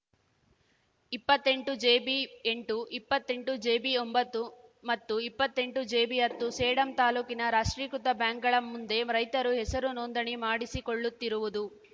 ಇಪ್ಪತ್ತೆಂಟುಜೆಬಿಎಂಟು ಇಪ್ಪತ್ತೆಂಟುಜೆಬಿಒಂಬತ್ತು ಮತ್ತು ಇಪ್ಪತ್ತೆಂಟುಜೆಬಿಹತ್ತು ಸೇಡಂ ತಾಲೂಕಿನ ರಾಷ್ಟ್ರೀಕೃತ ಬ್ಯಾಂಕ್‌ಗಳ ಮುಂದೆ ರೈತರು ಹೆಸರು ನೋಂದಣಿ ಮಾಡಿಸಿಕೊಳ್ಳುತ್ತಿರುವುದು